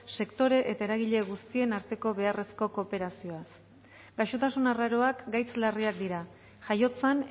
sektore eta eragile guztien arteko beharrezko kooperazioaz gaixotasun arraroak gaitz larriak dira jaiotzan